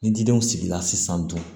Ni didenw sigila sisan dun